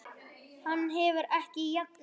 Hann hefur ekki jafnað sig.